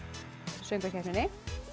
söngvakeppninni